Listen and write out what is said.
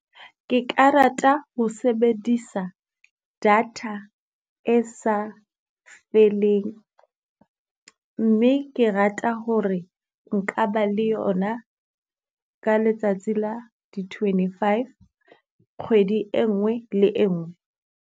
Ke ka rata ho sebedisa data e sa feleng, mme ke rata hore nka ba le yona ka letsatsi la di twenty-five kgwedi e nngwe le e nngwe.